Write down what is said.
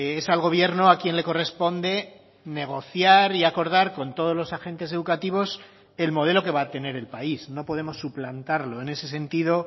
es al gobierno a quien le corresponde negociar y acordar con todos los agentes educativos el modelo que va a tener el país no podemos suplantarlo en ese sentido